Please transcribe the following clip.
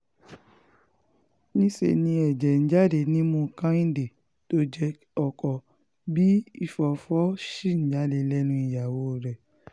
níṣẹ́ ni ẹ̀jẹ̀ ń jáde nímú kẹ́hìndé tó jẹ́ ọkọ bíi ìfọfọ́fọ́ ṣì ń jáde lẹ́nu ìyàwó rẹ̀